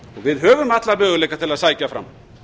við höfum alla möguleika til að sækja fram